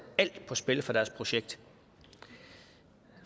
alt på spil for deres projekt